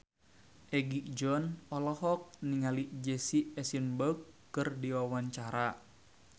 Egi John olohok ningali Jesse Eisenberg keur diwawancara